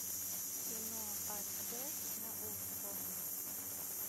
кино аш дэ на окко